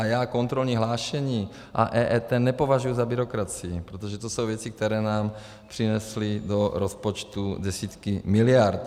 A já kontrolní hlášení a EET nepovažuji na byrokracii, protože to jsou věci, které nám přinesly do rozpočtu desítky miliard.